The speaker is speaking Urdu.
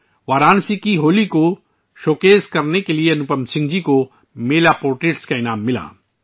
انوپم سنگھ جی کو وارانسی میں ہولی کی نمائش کے لیے میلا پورٹریٹ ایوارڈ ملا